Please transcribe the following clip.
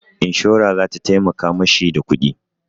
Inshora za ta taimaka ma shi da kuɗi.